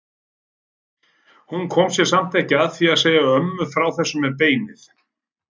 Hún kom sér samt ekki að því að segja ömmu frá þessu með beinið.